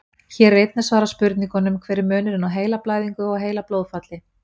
Hér er einnig svarað spurningunum: Hver er munurinn á heilablæðingu og heilablóðfalli?